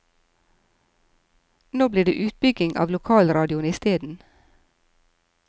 Nå blir det utbygging av lokalradioen isteden?